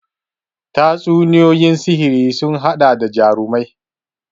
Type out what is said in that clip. Tatsuniyoyin sihiri sun haɗa da jarumai